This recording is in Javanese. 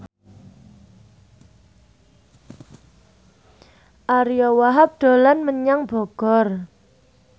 Ariyo Wahab dolan menyang Bogor